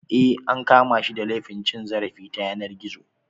Eh an kama shi da laifin cin zarafi ta yanar gizo.